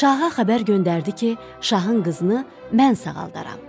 Şaha xəbər göndərdi ki, şahın qızını mən sağaldaram.